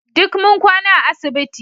Duk mun kwana a asibiti